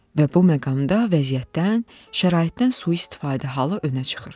Və bu məqamda vəziyyətdən, şəraitdən sui-istifadə halı önə çıxır.